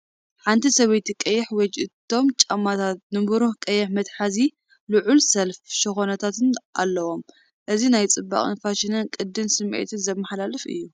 ሓንቲ ሰበይቲ ቀይሕ ዌጅ እቶም ጫማታት ንብሩህ ቀይሕ መትሓዚን ልዑል ሰለፍ ሸኾናታትን ኣለዎም። እዚ ናይ ጽባቐን ፋሽንን ቅዲን ስምዒት ዘመሓላልፍ እዩ።